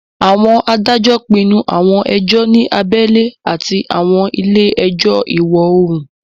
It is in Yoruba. Àwọn adájọ́ pinnu àwọn ẹjọ́ ní abẹ́lé àti àwọn ilé ẹjọ́ ìwọ-oòrùn